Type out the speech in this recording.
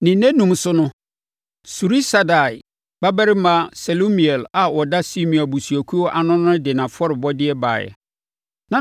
Ne nnanum so no, Surisadai babarima Selumiel a ɔda Simeon abusuakuo ano no de nʼafɔrebɔdeɛ baeɛ.